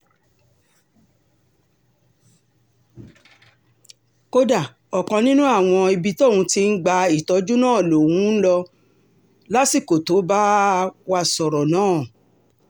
kódà ọ̀kan nínú àwọn ibi tóun ti ń gba ìtọ́jú náà lòun um ń ń lò lásìkò tó bá um wá sọ̀rọ̀ náà